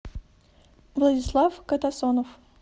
владислав катасонов